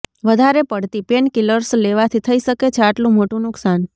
વધારે પડતી પેનકિલર્સ લેવાથી થઇ શકે છે આટલું મોટું નુકસાન